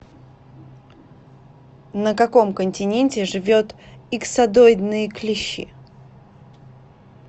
на каком континенте живет иксодоидные клещи